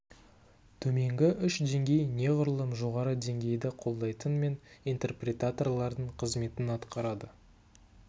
төменгі үш деңгей неғұрлым жоғары деңгейді қолдайтын мен интерпретаторлардың қызметін атқарады